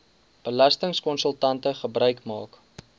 belastingkonsultante gebruik maak